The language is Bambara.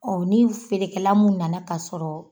ni feerekɛla mun nana ka sɔrɔ